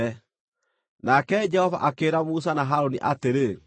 Nake Jehova akĩĩra Musa na Harũni atĩrĩ: